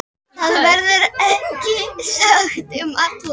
Það verður ekki sagt um alla.